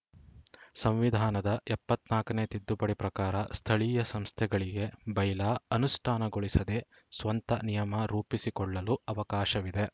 ಸಂವಿಧಾನದ ಎಪ್ಪತ್ತ್ ನಾಕನೇ ತಿದ್ದುಪಡಿ ಪ್ರಕಾರ ಸ್ಥಳೀಯ ಸಂಸ್ಥೆಗಳಿಗೆ ಬೈಲಾ ಅನುಷ್ಠಾನಗೊಳಿಸದೆ ಸ್ವಂತ ನಿಯಮ ರೂಪಿಸಿಕೊಳ್ಳಲು ಅವಕಾಶವಿದೆ